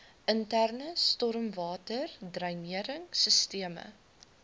interne stormwaterdreinering sisteme